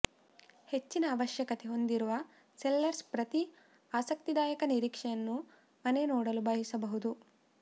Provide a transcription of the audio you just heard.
ಹೆಚ್ಚಿನ ಆವಶ್ಯಕತೆ ಹೊಂದಿರುವ ಸೆಲ್ಲರ್ಸ್ ಪ್ರತಿ ಆಸಕ್ತಿದಾಯಕ ನಿರೀಕ್ಷೆಯನ್ನು ಮನೆ ನೋಡಲು ಬಯಸಬಹುದು